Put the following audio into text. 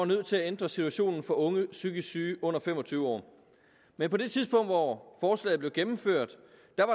nødt til at ændre situationen for unge psykisk syge under fem og tyve år men på det tidspunkt hvor forslaget blev gennemført